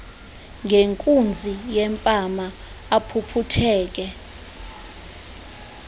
ngenkunzi yempama aphuphutheke